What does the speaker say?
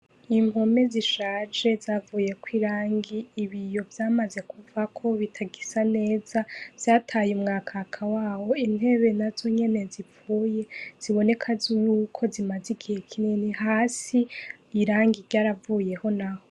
Impome zishaje zavuyeko irangi, ibiyo vyamaze kuvako bitagisa neza, vyataye umwakaka wawo. Intebe nazo nyene zipfuye, ziboneka zo yuko zimaze igihe kinini. Hasi, irangi ryaravuyeho naho.